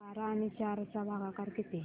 बारा आणि चार चा भागाकर किती